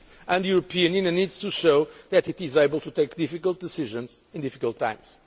budget for growth and cohesion. The European Union needs to show that it is able to take difficult